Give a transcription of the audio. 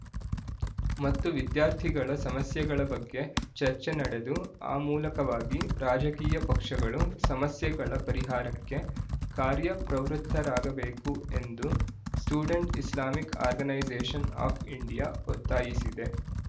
ಮತ್ತು ವಿದ್ಯಾರ್ಥಿಗಳ ಸಮಸ್ಯೆಗಳ ಬಗ್ಗೆ ಚರ್ಚೆ ನಡೆದು ಆ ಮೂಲಕವಾಗಿ ರಾಜಕೀಯ ಪಕ್ಷಗಳು ಸಮಸ್ಯೆಗಳ ಪರಿಹಾರಕ್ಕೆ ಕಾರ್ಯ ಪ್ರವೃತ್ತರಾಗಬೇಕು ಎಂದು student Islamic organisation of India ಒತ್ತಾಯಿಸಿದೆ